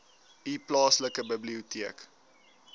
u plaaslike biblioteek